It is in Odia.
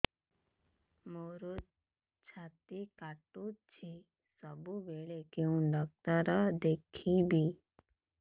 ମୋର ଛାତି କଟୁଛି ସବୁବେଳେ କୋଉ ଡକ୍ଟର ଦେଖେବି